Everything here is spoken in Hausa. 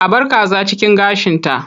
A bar kaza cikin gashinta.